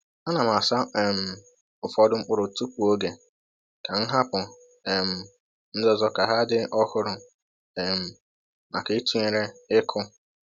A na m asa um ụfọdụ mkpụrụ tupu oge, ka m hapụ um ndị ọzọ ka ha dị ọhụrụ um maka ịtụnyere ịkụ.